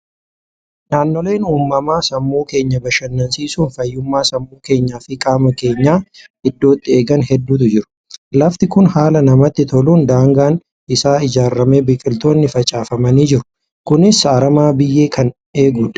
Naannooleen uumamaa sammuu keenya bashannansiisuun fayyummaa sammuu keenyaa fi qaama keenyaa iddootti eegan hedduutu jiru. Lafti kun haala namatti toluun daangaan isaa ijaaramee biqiltoonni facaafamanii jiru. Kunis harama biyyee kan eegudha.